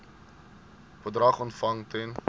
bedrag ontvang ten